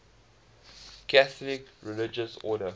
catholic religious order